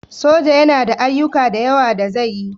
Soja yana da ayyuka da yawa da zai yi